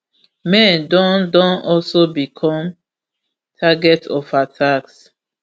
men don don also become target of attacks